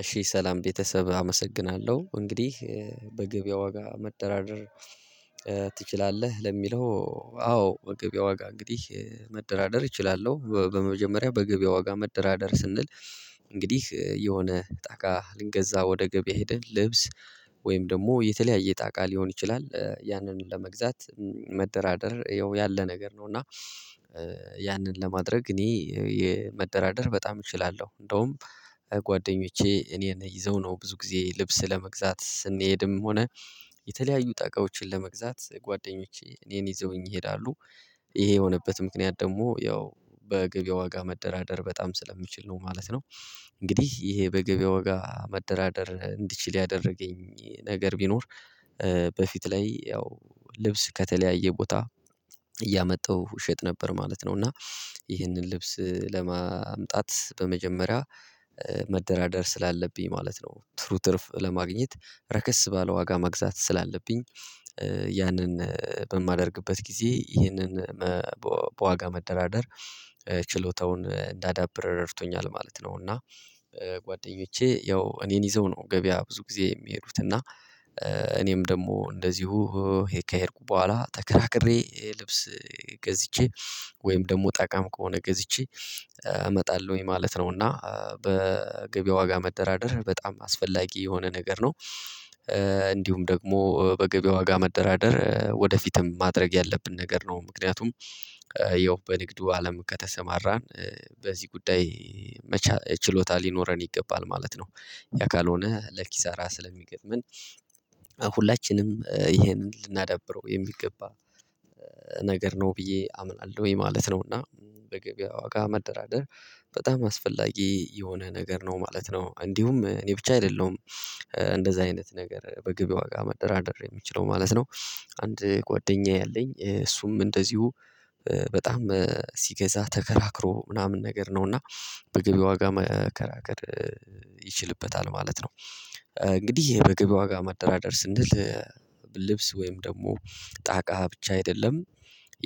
እሺ ሰላም ቤተሰብ አመሰግናለሁ እንግዲህ በገብያ ዋጋ መጠራደር ትችላለህ? ለሚለው አዎ በገበያ ዋጋ እንግዲህ መደራደር እችላለሁ። በመጀመሪያ በገበያ ዋጋ መደራደር ስንል እንግዲህ የሆነ ጣቃ ልንገዛ ወደ ገበያ ሄደ ልብስ ወይም ደግሞ የተለያየ ጣቃ ሊሆን ይችላል ያንን ለመግዛት መደራደር ያው ያለ ነገር ነው። እና ያንን ለማድረግ እኔ የመደራደር በጣም እችላለሁ። እንደውም ጓደኞቼ እኔን ይዘው ነው ብዙ ጊዜ ልብስ ለመግዛት ስንሄድም ሆነ የተለያዩ ጠቃዎችን ለመግዛት ጓደኞቼ እኔን ይዘውኝ ይሄዳሉ። ይሄ የሆነበት ምክንያት ደግሞ ያው በገብያ ዋጋ መደራደር በጣም ስለምችል ነው ማለት ነው። እንግዲህ ይሄ በገበያ ወጋ መደራደር እንድችል ያደረገኝ ነገር ቢኖር በፊት ላይ ያው ልብስ ከተለያየ ቦታ እያመጣሁ እሸጥ ነበር ማለት ነው። እና ይህንን ልብስ ለማምጣት በመጀመሪያ መደራደር ስላለብኝ ማለት ነው። ትሩ ትርፍ ለማግኘት ረከስ ባለ ዋጋ መግዛት ስላለብኝ ያንን በማደርግበት ጊዜ ይህንን በዋጋ መደራደር ችሎታውን ዳዳብር ረድቶኛል ማለት ነው። እና ጓደኞቼ ያው እኔን ይዘው ነው ገበያ ብዙ ጊዜ የሚሄዱት እና እኔም ደግሞ እንደዚሁ ሄ ከሄድኩ በኋላ ተከራክሬ ልብስ ገዝቼ ወይም ደግሞ ጣቃም ከሆነ ገዝቼ እመጣለሁኝ ማለት ነው። እና በገበያ ዋጋ መደራደር በጣም አስፈላጊ የሆነ ነገር ነው። እንዲሁም ደግሞ በገበያ ዋጋ መደራደር ወደፊትም ማድረግ ያለብን ነገር ነው ምክንያቱም ያው በንግዱ አለም ከተሰማራን በዚህ ጉዳይ መቻ ችሎታ ሊኖረን ይገባል ማለት ነው። ያ ካልሆነ ለኪሳራ ስለሚገጥመን ሁላችንም ይሄንን ልናዳብረው የሚገባ ነገር ነው ብዬ አምናለሁኝ ማለት ነው። እና በገበያ ዋጋ መደራደር በጣም አስፈላጊ የሆነ ነገር ነው ማለት ነው። እንዲሁም እኔ ብቻ አይደለሁም እንደዛ አይነት ነገር በገብያ ዋጋ መደራደር የምችለው ማለት ነው። አንድ ጓደኛዬ አለኝ እሱም እንደዚሁ በጣም ሲገዛ ተከራክሮ ምናምን ነገር ነው ነውና በገብያ ዋጋ መከራከር ይችልበታል ማለት ነው። እንግዲህ በገብያ ዋጋ መደራደር ስንል ልብስ ወይም ደግሞ ጣቃ ብቻ አይደለም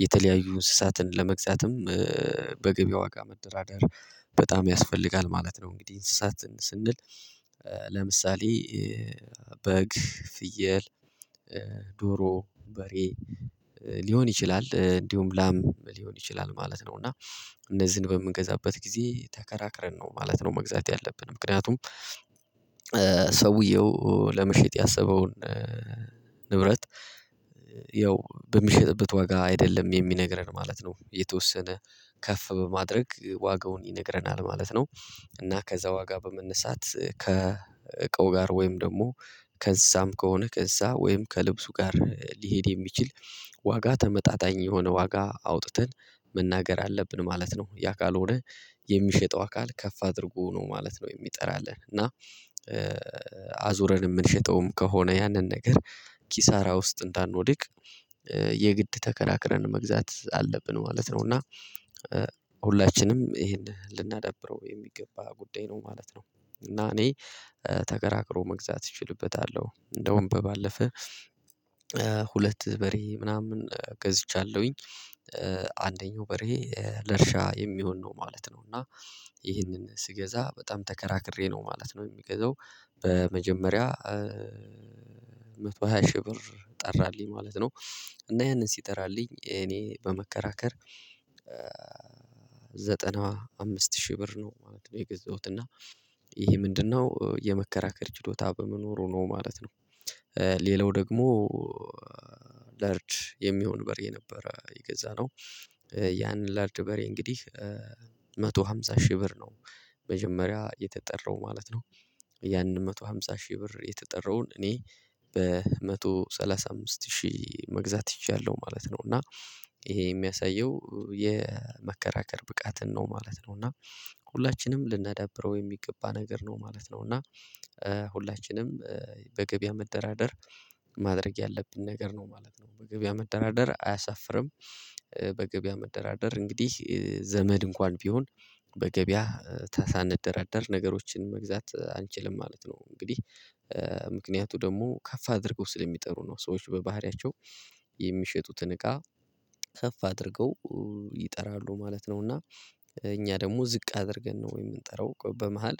የተለያዩ እንስሳትን ለመግዛትም በገብያ ዋጋ መደራደር በጣም ያስፈልጋል ማለት ነው። እንግዲህ እንስሳትን ስንል ለምሳሌ በግ ፍየል ዶሮ በሬ ሊሆን ይችላል እንዲሁም ላም ሊሆን ይችላል ማለት ነው። እና እነዚህን በምንገዛበት ጊዜ ተከራክረን ነው ማለት ነው መግዛት ያለብን ምክንያቱም ሰውየው ለመሸጥ ያሰበውን ንብረት ያው በሚሸጥበት ዋጋ አይደለም የሚነግረን ማለት ነው የተወሰነ ከፍ በማድረግ ዋጋውን ይነግረናል ማለት ነው። እና ከዛ ዋጋ በመነሳት ከእቃው ጋር ወይም ደግሞ ከእዛም ከሆነ ከእዛ ወይም ከልብሱ ጋር ሊሄድ የሚችል ዋጋ ተመጣጣኝ የሆነ ዋጋ አውጥተን መናገር አለብን ማለት ነው። ያ ካልሆነ የሚሸጠው አካል ከፍ አድርጎ ነው ማለት ነው የሚጠራልን እና አዙረን የምንሸጠውም ከሆነ ያንን ነገር ኪሳራ ውስጥ እንዳንወድቅ የግድ ተከራክረን መግዛት አለብን ማለት ነው። እና ሁላችንም ይሄንን ልናዳብረው የሚገባ ጉዳይ ነው ማለት ነው። እና እኔ ተከራክሮ መግዛት እችልበታለሁ እንደውም በባለፈ ሁለት በሬ ምናምን ገዝቻለሁኝ አንደኛው በሬ ለእርሻ የሚሆን ነው ማለት ነው እና ይህንን ስገዛ በጣም ተከራክሬ ነው ማለት ነው። የምገዛው በመጀመሪያ በሃያ ሺህ ብር ጠራልኝ ማለት ነው እና ያንን ሲጠራልኝ እኔ በመከራከር ዘጠና አምስት ሺህ ብር ነው ማለት ነው። የገዛሁት እና ይሄ ምንድነው የመከራከር ችሎታ በመኖሩ ነው ማለት ነው። ሌላው ደግሞ ለርጅ የሚሆን በሬ ነበር የገዛነው ያንን ላርድ በሬ እንግዲህ አንድ መቶ አምሳ ሺህ ብር ነው መጀመሪያ የተጠራው ማለት ነው ያንን መቶ ሃምሳ ሺህ ብር የተጠራውን እኔ በአንድ መቶ ሰላሳ አምስት ሺህ መግዛት ችያለሁ ማለት ነው። እና ይሄ የሚያሳየው የመከራከር ብቃትን ነው ማለት ነው። እና ሁላችንም ልናዳብረው የሚገባ ነገር ነው ማለት ነው። እና ሁላችንም በገበያ መደራደር ማድረግ ያለብን ነገር ነው ማለት ነው። በገበያ መደራደር አያሳፍርም። በገበያ መደራደር እንግዲህ ዘመድ እንኳን ቢሆን በገበያ ታሳንደራደር ነገሮችን መግዛት አንችልም ማለት ነው። እንግዲህ ምክንያቱ ደግሞ ከፍ አድርገው ስለሚጠሩ ነው ሰዎች በባህሪያቸው የሚሸጡትን እቃ ከፍ አድርገው ይጠራሉ ማለት ነው። እና እኛ ደግሞ ዝቅ አድርገን ነው የምንጠራው በመሃል